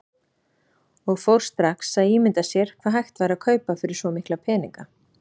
Og fór strax að ímynda sér hvað hægt væri að kaupa fyrir svo mikla peninga.